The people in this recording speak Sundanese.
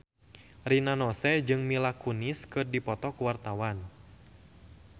Rina Nose jeung Mila Kunis keur dipoto ku wartawan